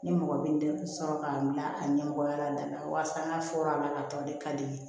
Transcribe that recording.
Ni mɔgɔ bɛ n tɛ sɔrɔ k'a bila a ɲɛmɔgɔya la n na walasa n ka fɔra a la ka tɔn de ka di n ye